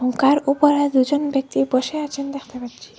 নৌকার ওপারে দু'জন ব্যক্তি বসে আছেন দেখতে পাচ্ছি।